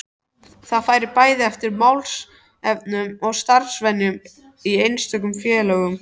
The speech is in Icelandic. Það fer bæði eftir málefnum og starfsvenjum í einstökum félögum.